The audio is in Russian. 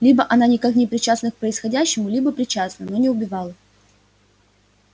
либо она никак не причастна к происходящему либо причастна но не убивала